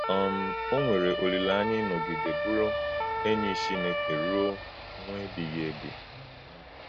um Ọ nwèrè òlílè-ányà ínọ́gídè bùrù ényì Chínèkè rúò́ mwè ebíghì ébì. um